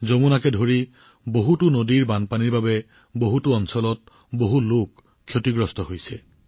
যমুনাসহ কেইবাখনো নদীৰ বানত বহু অঞ্চলৰ লোকসকল যথেষ্ট সমস্যাৰ সন্মুখীন হৈছে